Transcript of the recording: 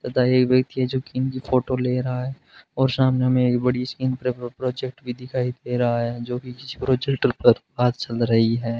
तथा एक व्यक्ति जो की फोटो ले रहा है और सामने हमें एक बड़ी सी स्क्रीन पर प्रोजेक्ट भी दिखाई दे रहा है जो किसी प्रोजेक्टर पर बात चल रही है।